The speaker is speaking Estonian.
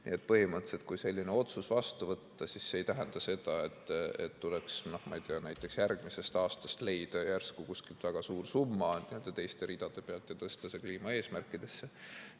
Nii et põhimõtteliselt, kui selline otsus vastu võtta, siis see ei tähenda seda, et tuleks, no ma ei tea, näiteks järgmisest aastast leida järsku kuskilt väga suur summa teiste ridade pealt ja tõsta see kliimaeesmärkidesse.